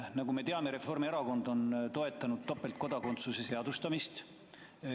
Nagu me teame, Reformierakond on toetanud topeltkodakondsuse seadustamist.